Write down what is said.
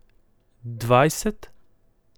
Dvajset?